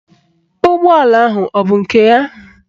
Ụgbọala ahụ abụ nke ya?